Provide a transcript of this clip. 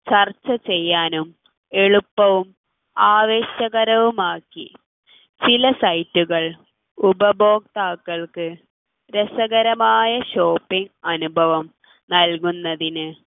ചർച്ച ചെയ്യാനും എളുപ്പവും ആവേശകരവും ആക്കി ചില site കൾ ഉപഭോക്താക്കൾക്ക് രസകരമായ shopping അനുഭവം നൽകുന്നതിന്